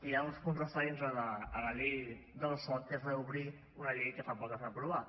que hi ha uns punts referents a la llei del soc que és reobrir una llei que fa poc que es va aprovar